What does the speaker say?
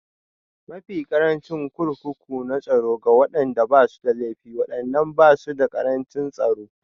Mafi ƙarancin Kurkuku na Tsaro Ga waɗanda ba su da laifi, waɗannan ba su da ƙarancin tsaro